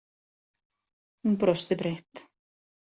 Hún brosti breitt.